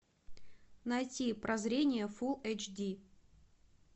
найти прозрение фулл эйч ди